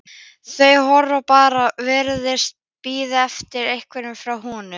Þau horfa bara og virðast bíða eftir einhverju frá honum.